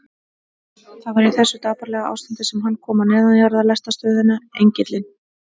Það var í þessu dapurlega ástandi sem hann kom á neðanjarðarlestarstöðina Engilinn.